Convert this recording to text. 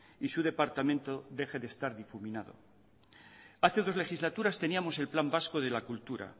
y su departamento deje de estar difuminado hace dos legislaturas teníamos el plan vasco de la cultura